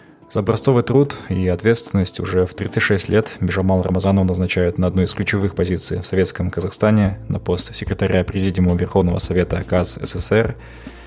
зо образцовый труд и ее ответственность уже в тридцать шесть лет бижамал рамазанову назначают на одной из ключевых позиций советскому казахстане на пост секретаря президиума верховного совета казсср